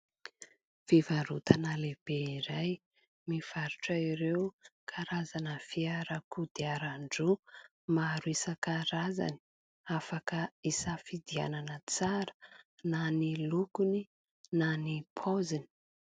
Fivarotana lehibe iray mivarotra ireo karazana fiara kodiaran-droa maro isan-karazany, afaka hisafidianana tsara na ny lokony na ny paoziny.